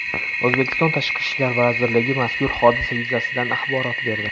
O‘zbekiston Tashqi ishlar vazirligi mazkur hodisa yuzasidan axborot berdi .